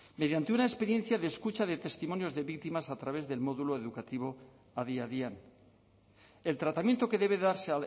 mediante una experiencia de escucha de testimonios de víctimas a través del módulo educativo adi adian el tratamiento que debe darse